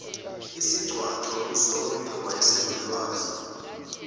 isigcwagcwa kuzonke owayesenolwazi